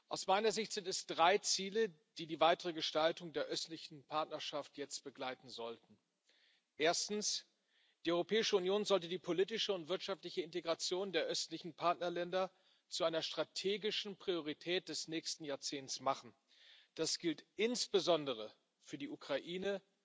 Aus meiner Sicht sind es drei Ziele, die die weitere Gestaltung der Östlichen Partnerschaft jetzt begleiten sollten Erstens Die Europäische Union sollte die politische und wirtschaftliche Integration der östlichen Partnerländer zu einer strategischen Priorität des nächsten Jahrzehnts machen. Das gilt insbesondere für die Ukraine,